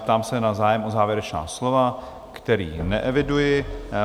Ptám se na zájem o závěrečná slova, který neeviduji.